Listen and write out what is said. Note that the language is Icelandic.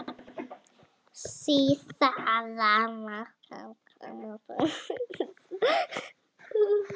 Síðara mark hans kom svo með síðustu spyrnunni í fyrri hálfleik.